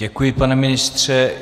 Děkuji, pane ministře.